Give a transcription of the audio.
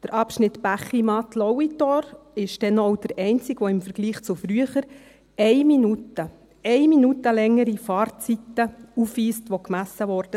Der Abschnitt Bächimatt-Lauitor ist denn auch der einzige, der im Vergleich zu früher eine Minute – eine Minute – längere Fahrzeiten aufweist, die gemessen wurden.